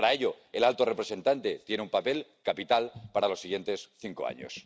Y, para ello, el alto representante tiene un papel capital para los siguientes cinco años.